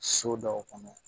So dɔw kɔnɔ